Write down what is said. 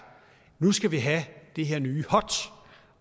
nu skal vi have det her nye hot